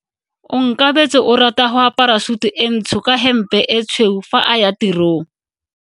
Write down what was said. Onkabetse o rata go apara sutu e ntsho ka hempe e tshweu fa a ya tirong.